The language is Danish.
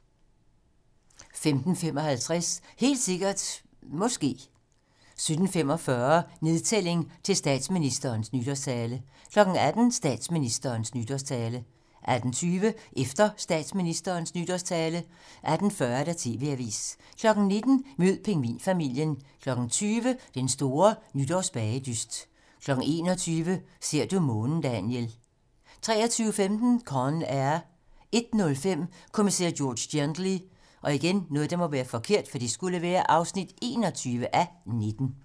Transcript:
15:55: Helt sikkert ... måske 17:45: Nedtælling til statsministerens nytårstale 18:00: Statsministerens nytårstale 18:20: Efter statsministerens nytårstale 18:40: TV-Avisen 19:00: Mød pingvinfamilien 20:00: Den store nytårsbagedyst 21:00: Ser du månen, Daniel 23:15: Con Air 01:05: Kommissær George Gently (21:19)